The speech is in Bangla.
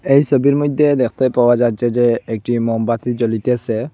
এই ছবির মইধ্যে দেখতে পাওয়া যাচ্ছে যে একটি মোমবাতি জ্বলিতেসে।